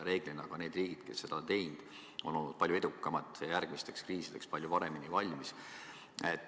Reeglina need riigid, kes seda on teinud, on olnud palju edukamad ja järgmisteks kriisideks palju paremini valmis.